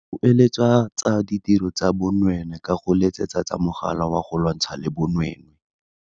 Kueletsa tsa ditiro tsa bonweenwee ka go letsetsa mogala wa go lwantshana le bonweenwee.